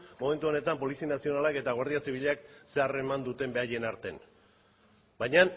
momentu honetan polizia nazionalak eta guardia zibilak ze harreman duten beraien artean baina